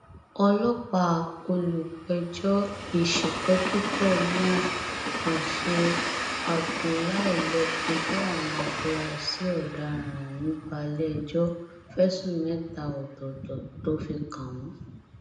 ọlọpàá olùpẹjọ ìǹṣìpẹkìtọ mua àṣù abdullah ló fojú àwọn afurasí ọdaràn ọhún balẹẹjọ fẹsùn mẹta ọtọọtọ tó fi kàn wọn